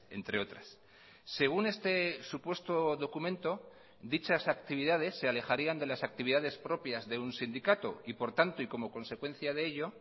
entre otras según este supuesto documento dichas actividades se alejarían de las actividades propias de un sindicato y por tanto y como consecuencia de ello